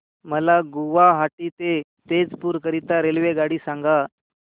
मला गुवाहाटी ते तेजपुर करीता रेल्वेगाडी सांगा